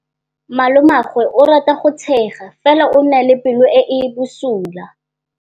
Malomagwe o rata go tshega fela o na le pelo e e bosula.